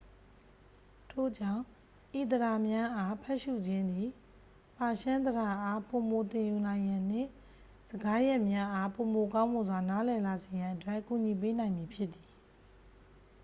ထို့ကြောင့် ဤသဒ္ဒါများအား ဖတ်ရှု့ခြင်းသည် ပါရှန်းသဒ္ဒါအား ပိုမိုသင်ယူနိုင်ရန်နှင့် စကားရပ်များအား ပိုမိုကောင်းမွန်စွာ နားလည်လာစေရန်အတွက် ကူညီပေးနိုင်မည်ဖြစ်သည်